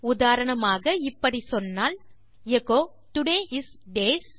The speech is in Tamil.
உதாரணமாக இப்படி சொன்னால் எச்சோ டோடே இஸ் டேஸ்